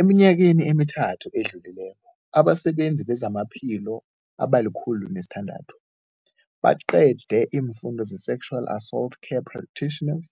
Eminyakeni emithathu edluleko, abasebenzi bezamaphilo abali-106 baqede isiFundo se-Sexual Assault Care Practitioners.